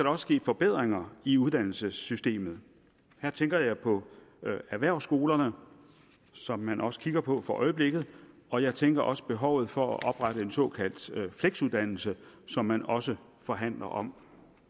også ske forbedringer i uddannelsessystemet her tænker jeg på erhvervsskolerne som man også kigger på for øjeblikket og jeg tænker også på behovet for at oprette en såkaldt fleksuddannelse som man også forhandler om